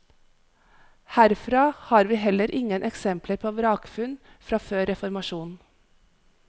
Herfra har vi heller ingen eksempler på vrakfunn fra før reformasjonen.